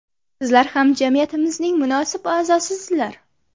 Sizlar ham jamiyatimizning munosib a’zosisizlar.